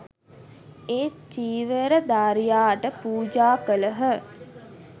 ඒ චීවරධාරියාට පූජා කළහ